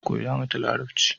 Koya mata yarbanci